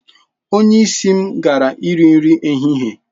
Onye isi m gara iri nri ehihie.